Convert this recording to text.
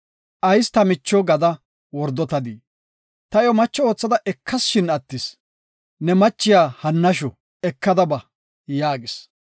Ayis ta micho gada wordotadii? Ta iyo macho oothada ekas, shin attis; ne machiya hannashu eka ba” yaagis.